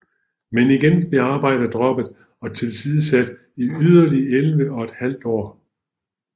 Men igen blev arbejdet droppet og tilsidesat i yderligere elleve og et halvt år